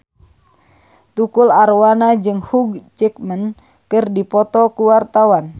Tukul Arwana jeung Hugh Jackman keur dipoto ku wartawan